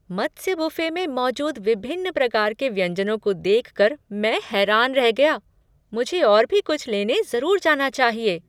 मत्स्य buffet में मौजूद विभिन्न प्रकार के व्यंजनों को देख कर मैं हैरान रह गया! मुझे और भी कुछ लेने जरूर जाना चाहिए।